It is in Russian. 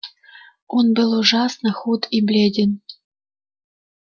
он был ужасно худ и бледен